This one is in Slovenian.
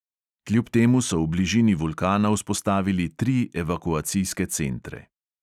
Kljub temu so v bližini vulkana vzpostavili tri evakuacijske centre.